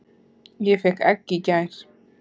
Ég fékk egg í gær.